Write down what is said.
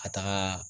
Ka taga